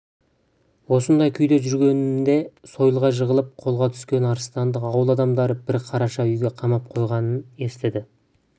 осындай күйде жүргенінде сойылға жығылып қолға түскен арыстанды ауыл адамдары бір қараша үйге қамап қойғанын естіді